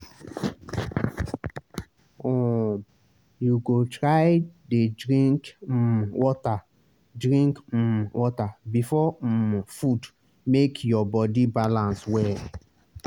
um you go try dey drink um water drink um water before um food make your body balance well.